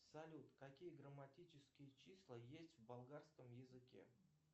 салют какие грамматические числа есть в болгарском языке